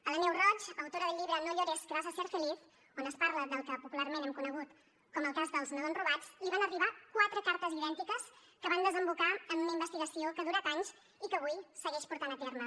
a la neus roig autora del llibre no llores que vas a ser feliz on es parla del que popularment hem conegut com el cas dels nadons robats li van arribar quatre cartes idèntiques que van desembocar en una investigació que ha durat anys i que avui segueix portant a terme